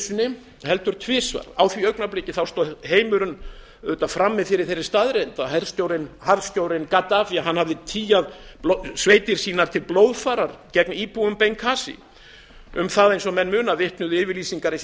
sinni heldur tvisvar á því augnabliki stóð heimurinn auðvitað frammi fyrir þeirri staðreynd að harðstjórinn gaddafí hafði tygjað sveitir sínar til blóðfarar gegn íbúum bengasí eins og menn muna vitnuðu yfirlýsingar hans í